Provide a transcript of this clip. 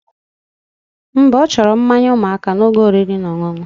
Mba, ochoro mmanya umuaka na oge oriri na oṅụoṅụ